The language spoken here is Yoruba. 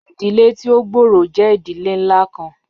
Idile ti o gbooro jẹ idile nla kan